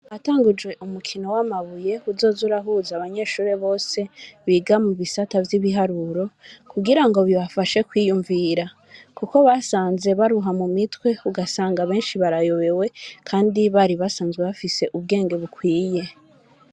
Hatangujwe umukino w'amabuye, uzoza urahuza abanyeshure bose biga mu bisata vy'ibiharuro, kugira ngo bibafashe kwiyumvira kuko basanze baruha mu mitwe, ugasanga benshi barayobewe, kandi bari basanzwe bafise ubwenge bukwiye.